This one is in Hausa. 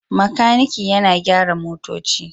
Makaniki yana gyara motoci